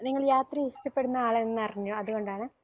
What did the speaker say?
നിങ്ങൾ യാത്രയെ ഇഷ്ടപ്പെടുന്ന ആളാണെന്ന് അറിഞ്ഞു അതുകൊണ്ടാണ്